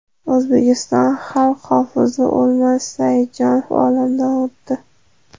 O‘zbekiston xalq hofizi O‘lmas Saidjonov olamdan o‘tdi.